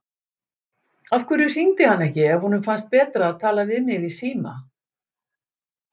Af hverju hringdi hann ekki ef honum fannst betra að tala við mig í síma?